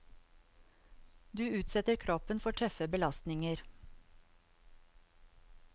Du utsetter kroppen for tøffe belastninger.